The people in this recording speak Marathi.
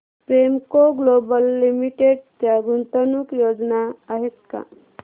प्रेमको ग्लोबल लिमिटेड च्या गुंतवणूक योजना आहेत का